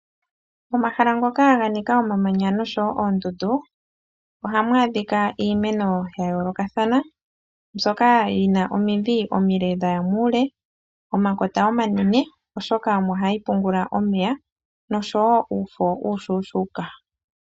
Omahala ngoka ga nika omamanya noshowoo oondundu ohamu adhika iimeno ya yoolokathana mbyoka yi na omidhi omile dhaya muule, omakota omanene oshoka omo hayi pungula omeya nosho woo uufo uushona.